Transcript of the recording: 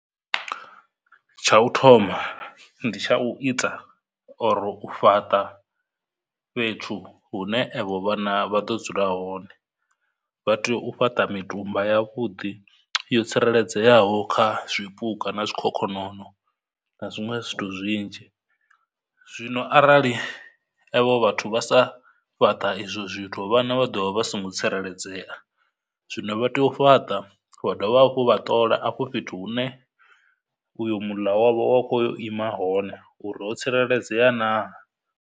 Tsha u thoma ndi tsha u ita or u fhaṱa fhethu hune evho vhana vha ḓo dzula hone, vha tea u fhaṱa mitumba ya vhuḓi yo tsireledzeaho kha zwipuka na zwikhokhonono, na zwiṅwe zwithu zwinzhi. Zwino arali evho vhathu vha sa fhaṱa izwo zwithu vhana vha do vha vha songo tsireledzea, zwino vha tea u fhaṱa vha dovha hafhu vha ṱola afho fhethu hune uyo muḽa wavho wa khou ya u ima hone uri ho tsireledzea na.